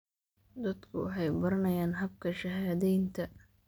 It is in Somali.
Dadku waxay baranayaan habka shahaadaynta.